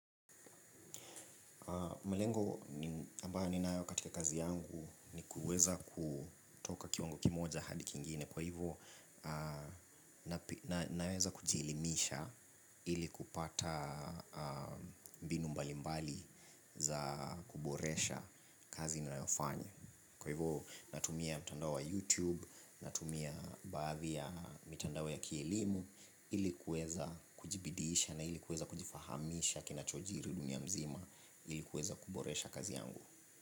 Malengo ambayo ninayo katika kazi yangu ni kuweza kutoka kiwango kimoja hadi kingine kwa hivyo naweza kujielimisha ili kupata mbinu mbali mbali za kuboresha kazi ninayofanya. Kwa hivyo natumia mtandao wa YouTube, natumia baadhi ya mitandao ya kielimu ili kuweza kujibidiisha na ili kuweza kujifahamisha kinachojiri dunia mzima ilikuweza kuboresha kazi yangu.